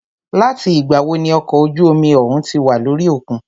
Láti ìgbà wo ní okọ̀ ojú omi òhún tí wà lórí òkun?